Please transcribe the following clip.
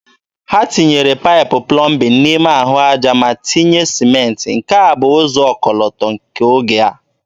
Ha tinyere paịpụ plọmbin n'ime ahụ aja ma tinye sịmentị, nke a bụ ụzọ ọkọlọtọ nke oge a.